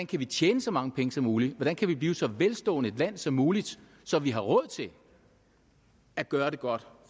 kan tjene så mange penge som muligt hvordan vi kan blive så velstående et land som muligt så vi har råd til at gøre det godt